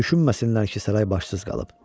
Düşünməsinlər ki, saray başsız qalıb.